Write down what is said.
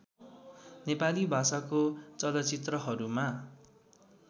नेपाली भाषाको चलचित्रहरूमा